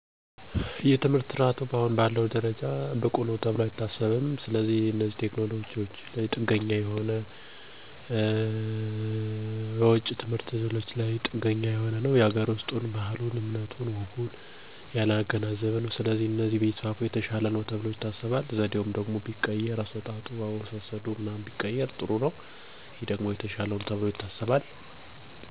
በአጠቃላይ የአሁኑ የትምህርት ሁኔታ ላይ ያሉ አስተያየቶች ውሰጥ የትምህርት ጥራት እና እድሎች እኩልነት ጉዳዮች ተደጋጋሚ ሲሆኑ በተጨማሪም ቴክኖሎጂ የፖሊሲ ለውጦች እና የማህበረሰብ ተሳትፎ ዙርያ ያሉ ውይይቶች እየተሰፋፉ ነው።